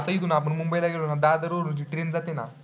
आता आपण इथून कसं आता इथून मुंबईला गेलो ना, दादर वरून train जाते ना.